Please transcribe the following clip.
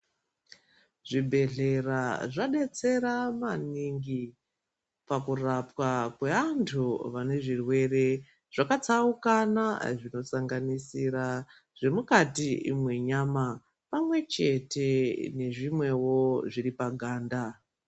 Zvibhedhlera zvadetsera maningi pakurapwa kweantu vanezvirwere zvakatsaukana zvinosanganisira zvemukati mwenyama pamwe chete nezvimwewo zviripaganda.